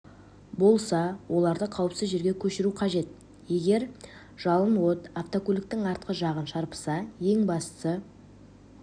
болса оларды қауіпсіз жерге көшіру қажет егер жалын от автокөліктің артқы жағын шарпыса ең бастысы